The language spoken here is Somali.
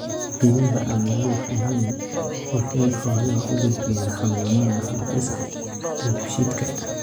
Biyaha aan nadiifka ahayn waxa ay xoolaha u gudbiyaan xanuunada hab-dhiska dheefshiidka.